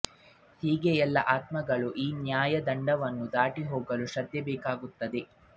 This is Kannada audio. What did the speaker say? ಹೀಗೆ ಎಲ್ಲಾ ಆತ್ಮಗಳು ಈ ನ್ಯಾಯದಂಡವನ್ನು ದಾಟಿ ಹೋಗಲು ಶ್ರದ್ದೆ ಬೇಕಾಗುತ್ತದೆ